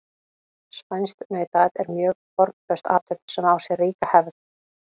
Spænskt nautaat er mjög formföst athöfn sem á sér ríka hefð.